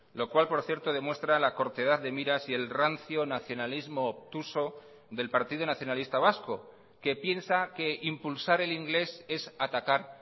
lo cual por cierto demuestra la cortedad de miras y el rancio nacionalismo obtuso del partido nacionalista vasco que piensa que impulsar el inglés es atacar